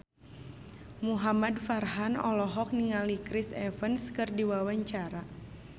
Muhamad Farhan olohok ningali Chris Evans keur diwawancara